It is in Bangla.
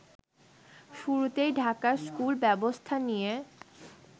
শুরুতেই ঢাকার স্কুল ব্যব্স্থা নিয়ে